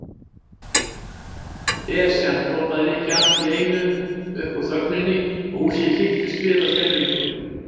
Esjan! hrópaði Nikki allt í einu upp úr þögninni og húsið kipptist við af skelfingu.